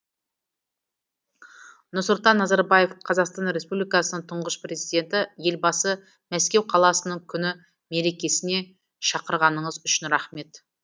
нұрсұлтан назарбаев қазақстан республикасының тұңғыш президенті елбасы мәскеу қаласының күні мерекесіне шақырғаныңыз үшін рахмет